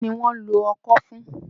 Kí ni wọ́n ń lò ọ́kọ fún?